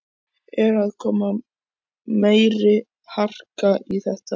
Er að koma meiri harka í þetta?